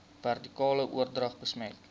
vertikale oordrag besmet